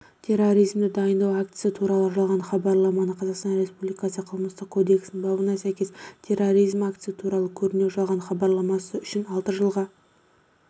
терроризмді дайындау актісі туралы жалған хабарламаны қазақстан республикасы қылмыстық кодексінің бабына сәйкес терроризм актісі туралы көрнеу жалған хабарламасы үшін алты жылға